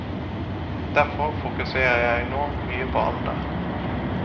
Derfor fokuserer jeg nå mye på alder.